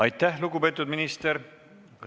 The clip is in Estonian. Aitäh, lugupeetud minister!